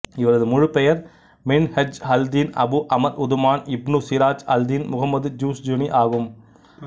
இவரது முழுப் பெயர் மின்ஹஜ்அல்தின் அபு அமர் உதுமான் இப்னு சிராஜ்அல்தின் முகம்மத் ஜுஸ்ஜனி ஆகும்